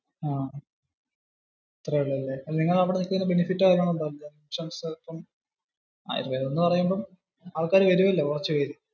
അത്രേ ഉള്ളു ല്ലേ. അപ്പോ നിങ്ങടെ അവിടെ എന്തേലും benefit ഒക്കെ ഉണ്ടോ. ആയുർവ്വേദം എന്ന പറയുമ്പോ ആള്ക്കാര് വേരുവല്ലോ, കുറച്ചുപേര്.